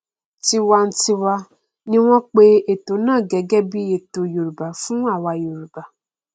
tiwantiwa ni wọn n pe ètò náà gẹgẹ bí ètò yorùbá fún àwa yorùbá